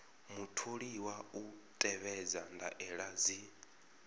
mutholiwa u tevhedza ndaela dzi